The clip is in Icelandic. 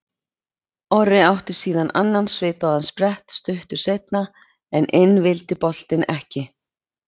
Orri átti síðan annan svipaðan sprett stuttu seinna en inn vildi boltinn ekki.